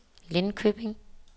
Lindköping